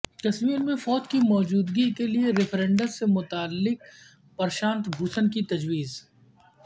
کشمیر میں فوج کی موجودگی کیلیے ریفرینڈم سے متعلق پرشانت بھوشن کی تجویز